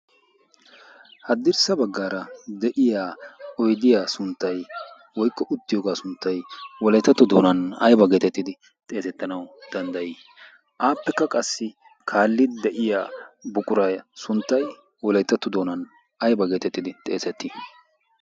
haddirssa baggaara de7iya oidiyaa sunttai woikko uttiyoogaa sunttai wolaetattu doonan aiba geetettidi xeesettanau danddayii aappekka qassi kaalli de7iya buqurai sunttai wolaitattu doonan aiba geetettidi xeesettii